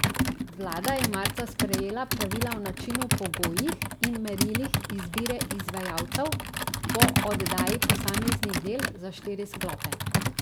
Vlada je marca sprejela pravila o načinu, pogojih in merilih izbire izvajalcev po oddaji posameznih del za štiri sklope.